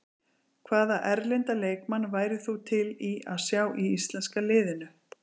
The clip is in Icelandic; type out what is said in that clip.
Hvaða erlenda leikmann værir þú til í að sjá í íslenska liðinu?